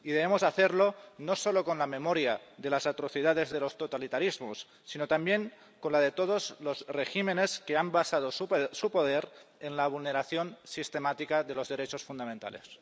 Y debemos hacerlo, no solo con la memoria de las atrocidades de los totalitarismos, sino también con la de todos los regímenes que han basado su poder en la vulneración sistemática de los derechos fundamentales.